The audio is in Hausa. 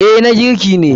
Eh na girki ne.